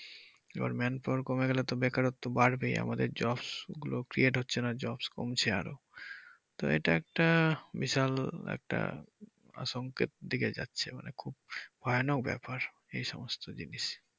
এবার manpower কমে গেলে তো বেকারত্ব বাড়বেই আমাদের jobs গুলো create হচ্ছে না job কমছে আরো তো এটা একটা বিশাল একটা আতঙ্কের দিকে যাচ্ছে মানে খুব ভয়ানক ব্যাপার এই সমস্ত জিনিস।